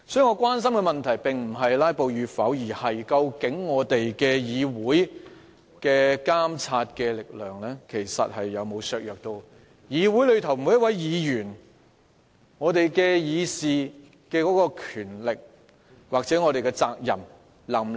我關心的問題並非有否議員"拉布"，而是議會監察政府的力量有否被削弱，以及各位議員能否享有議事的權力及履行議事的責任。